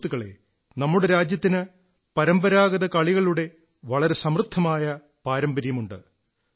സുഹൃത്തുക്കളേ നമ്മുടെ രാജ്യത്തിന് പരമ്പരാഗത കളികളുടെ വളരെ സമൃദ്ധമായ പാരമ്പര്യമുണ്ട്